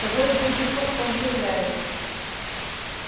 того и гляди хвостом завиляет